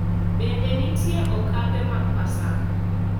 Bende nitie okape mag Paska: